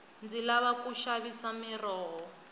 ndzi lava ku xavisa miroho